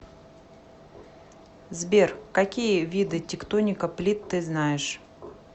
сбер какие виды тектоника плит ты знаешь